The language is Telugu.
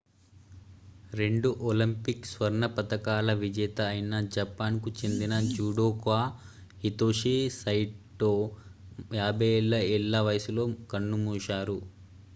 రెండు ఒలింపిక్ స్వర్ణ పతకాల విజేత అయిన జపాన్ కు చెందిన జుడోకా హితోషి సైటో 54 ఏళ్ల వయసులో కన్నుమూశారు